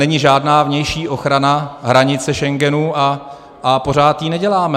Není žádná vnější ochrana hranice Schengenu a pořád ji neděláme.